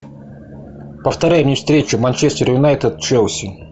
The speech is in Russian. повторяй мне встречу манчестер юнайтед челси